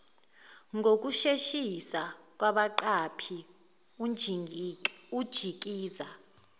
ngokusheshisa kwabaqaphi unjikiza